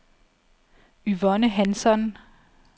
Yvonne Hansson